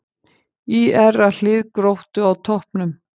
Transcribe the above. ÍR að hlið Gróttu á toppnum